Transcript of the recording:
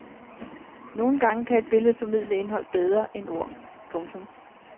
Nogen gange kan et billede formidle indhold bedre end ord. punktum